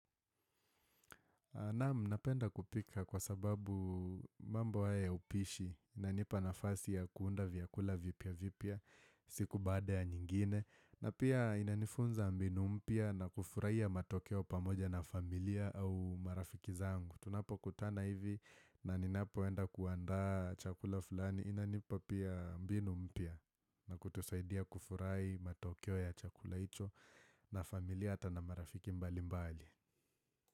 Naam, napenda kupika kwa sababu mambo haya ya upishi inanipa nafasi ya kuunda vyakula vipya vipya siku baada ya nyingine na pia inanifunza mbinu mpya na kufurahia matokeo pamoja na familia au marafiki zangu. Tunapokutana hivi na ninapoenda kuandaa chakula fulani inanipa pia mbinu mpya na kutusaidia kufurai matokeo ya chakula hicho na familia hata na marafiki mbali mbali.